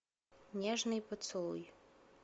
нежный поцелуй